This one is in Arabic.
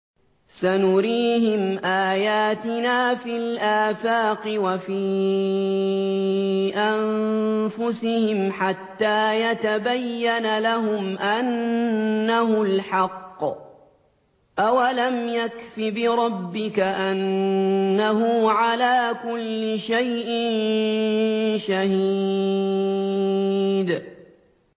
سَنُرِيهِمْ آيَاتِنَا فِي الْآفَاقِ وَفِي أَنفُسِهِمْ حَتَّىٰ يَتَبَيَّنَ لَهُمْ أَنَّهُ الْحَقُّ ۗ أَوَلَمْ يَكْفِ بِرَبِّكَ أَنَّهُ عَلَىٰ كُلِّ شَيْءٍ شَهِيدٌ